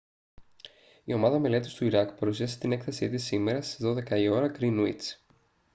η ομάδα μελέτης του ιράκ παρουσίασε την έκθεση της σήμερα στις 12.00 ώρα γκρίνουιτς gmt